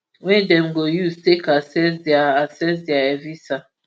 wey dem go use take access dia access dia evisa